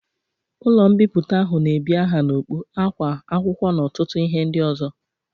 Ụlọ mbipụta ahụ na ebi aha n'okpu, akwa, akwụkwọ n'ọtụtụ ihe ndị ozo